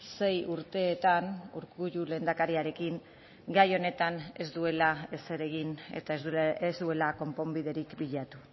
sei urteetan urkullu lehendakariarekin gai honetan ez duela ezer egin eta ez duela konponbiderik bilatu